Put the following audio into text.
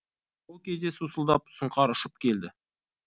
сол кезде сусылдап сұңқар ұшып келді